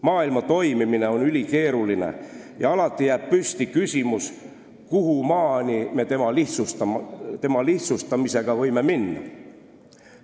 Maailma toimimine on ülikeeruline ja alati jääb alles küsimus, kuhumaani me tema lihtsustamisega võime minna.